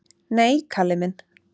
"""Nei, Kalli minn."""